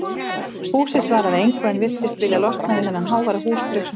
Húsið svaraði engu en virtist vilja losna við þennan háværa húsdraug sem fyrst.